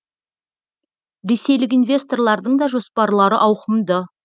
ресейлік инвесторлардың да жоспарлары ауқымды